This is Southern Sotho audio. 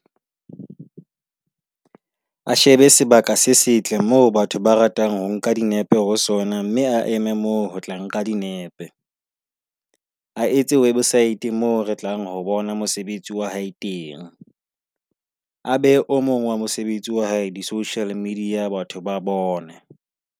A shebe sebaka se setle moo batho ba ratang ho nka dinepe ho sona, mme a eme moo ho tla nka dinepe. A etse website moo re tlang ho bona mosebetsi wa hae teng, a behe o mong wa mosebetsi wa hae di-social media, batho ba bone.